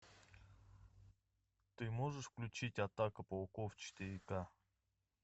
ты можешь включить атака пауков четыре ка